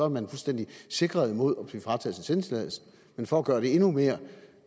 man fuldstændig sikret mod at blive frataget sin sendetilladelse men for at gøre det endnu mere